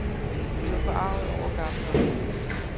De var forargede over gammel opvask.